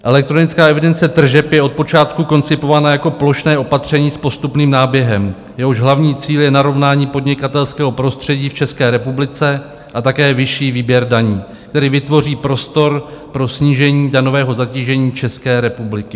Elektronická evidence tržeb je od počátku koncipována jako plošné opatření s postupným náběhem, jehož hlavní cíl je narovnání podnikatelského prostředí v České republice a také vyšší výběr daní, který vytvoří prostor pro snížení daňového zatížení České republiky.